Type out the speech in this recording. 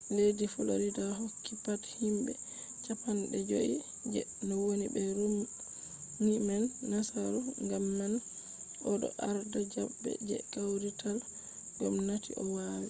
leddi florida hokki pat himɓe cappanɗe joi je woni be romni man nasaru gam man o ɗo arda zaɓe je kawrital gomnati o woni